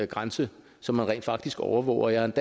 grænse som man rent faktisk overvåger jeg